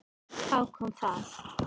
Þá kom það.